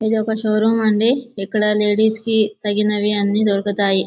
ఇది ఒక షోరూమ్ అండి ఇక్కడ లేడీస్ కి తగినవి అన్ని దొరుకుతాయి.